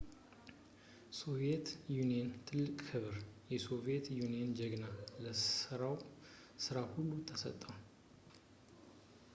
የሶቪየት ዩኒየን ትልቅ ክብር «የሶቪየት ዩኒየን ጀግና» ለሠራው ሥራ ሁሉ ተሰጠው